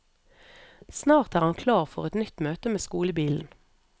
Snart er han klar for et nytt møte med skolebilen.